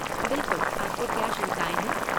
बिलकुल, आपको क्या शंकाएँ हैं?